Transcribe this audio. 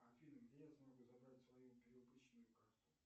афина где я смогу забрать свою перевыпущенную карту